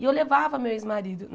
E eu levava meu ex-marido.